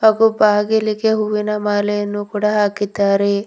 ಹಾಗೂ ಬಾಗಿಲಿಗೆ ಹೂವಿನ ಮಾಲೆಯನ್ನು ಕೂಡ ಹಾಕಿದ್ದಾರೆ.